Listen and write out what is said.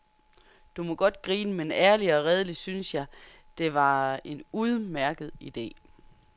Du må godt grine, men ærligt og redeligt syntes jeg, det var en udmærket ide.